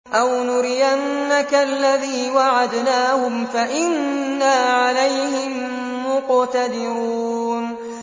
أَوْ نُرِيَنَّكَ الَّذِي وَعَدْنَاهُمْ فَإِنَّا عَلَيْهِم مُّقْتَدِرُونَ